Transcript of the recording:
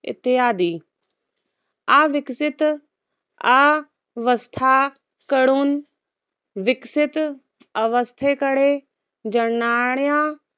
इत्यादी. आविकासित, आवस्था कडून विकसित अवस्थेकडे जनाण्या